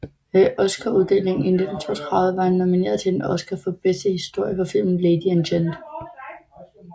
Ved Oscaruddelingen 1932 var han nomineret til en Oscar for bedste historie for filmen Lady and Gent